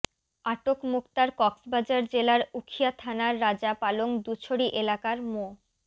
আটক মোক্তার কক্সবাজার জেলার উখিয়া থানার রাজা পালং দুছড়ী এলাকার মো